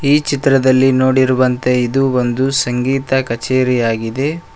ಈ ಚಿತ್ರದಲ್ಲಿ ನೋಡಿರುವಂತೆ ಇದು ಒಂದು ಸಂಗೀತ ಕಚೇರಿಯಾಗಿದೆ.